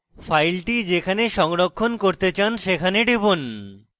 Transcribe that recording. file যেখানে সংরক্ষণ করতে চান সেখানে টিপুন